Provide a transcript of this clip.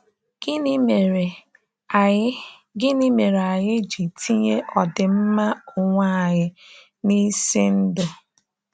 Gịnị mere anyị Gịnị mere anyị ji tinye ọdịmma onwe anyị n’isi ndụ?